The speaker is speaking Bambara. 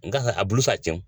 Nka a bolo fa tewu